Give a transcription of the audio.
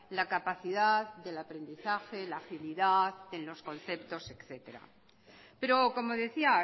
la capacidad del aprendizaje la agilidad en los conceptos etéctera pero como decía